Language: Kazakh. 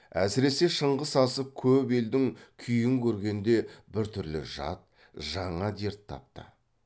әсіресе шыңғыс асып көп елдің күйін көргенде біртүрлі жат жаңа дерт тапты